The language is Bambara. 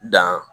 Dan